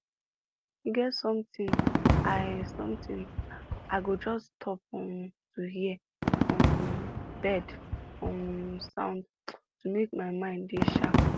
e get sometime i sometime i go just stop um to hear um bird um sound to make my mind dey sharp